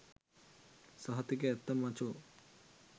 සහතික ඇත්ත මචෝ